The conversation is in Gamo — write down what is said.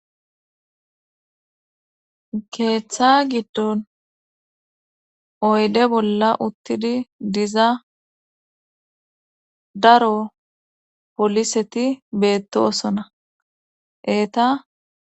Keeththa giddon oyde bolla uttidi diza daro poliseti beettosona eeta